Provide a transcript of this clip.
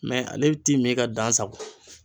ale t'i min ka dan sago